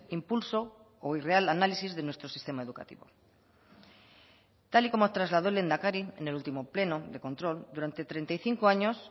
impulso o irreal análisis de nuestro sistema educativo tal y como trasladó el lehendakari en el último pleno de control durante treinta y cinco años